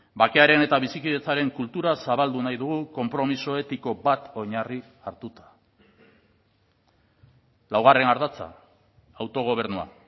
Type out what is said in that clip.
bakearen eta bizikidetzaren kultura zabaldu nahi dugu konpromiso etiko bat oinarri hartuta laugarren ardatza autogobernua